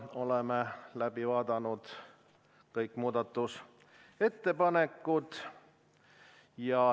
Oleme läbi vaadanud kõik muudatusettepanekud.